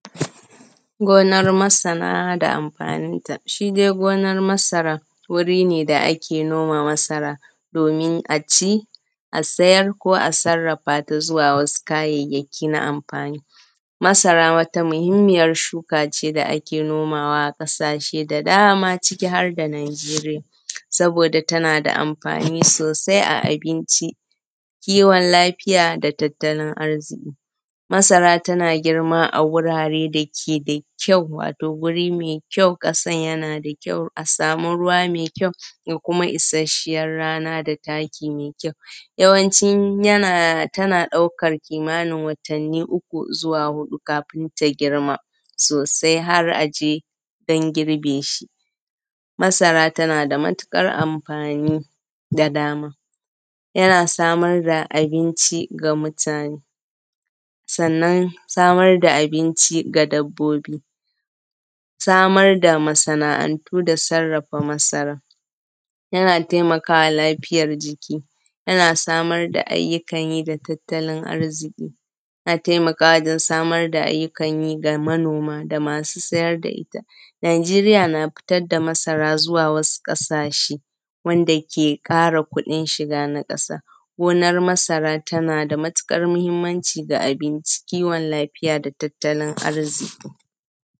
Gonar masara da amfaninta. Shi dai gonan masara wuri ne da ake noma masara domin aci, a sayar ko a sarrafata zuwa wasu kayayyaki na amfani. Masara wata muhimmiyar shuka ce da ake nomawa a ƙasashe da dama ciki har da Nijeriya, saboda da tana da amfani sosai a abinci, kiwon lafiya da tattalin arziki. Masara tana girma a wurare dake da kyau, wato guri mai kyau, ƙasan tana da kyau, a samu ruwa mai kyau da kuma isashiyar rana da taki mai kyau. Yawanci yana, tana ɗaukan kimanin watani uku zuwa huɗu kafin ta girma sosai har aje dan girbe shi. Masara tana da matuƙar amfani da dama, yana samar da abinci ga mutane, sannan samar da abinci ga dabbobi, samar da masana’antu da sarrafa masaran, yana taimakawa lafiyar jiki, yana samar da ayyukan yi da tattalin arziki, yana taimakawa don samar ayyukan yi ga manoma ga masu siyar da ita. Nijeriya fitar da masara zuwa wasu ƙasashe wanda ke ƙara kuɗin shiga na ƙasa. Gonar masara tana da matuƙar mahimmanci ga abinci, kiwon lafiya da tattalin arziki.